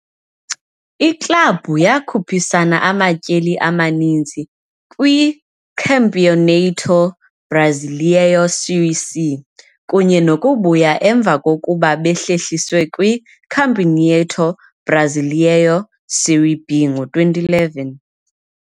Iklabhu yakhuphisana amatyeli amaninzi kwiCampeonato Brasileiro Série C kunye nokubuya emva kokuba behlehlisiwe kwiCampeonato Brasileiro Série B ngo-2011.